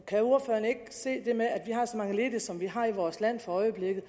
kan ordføreren ikke se det med at når vi har så mange ledige som vi har i vores land for øjeblikket